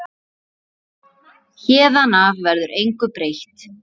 Héðan af verður engu breytt.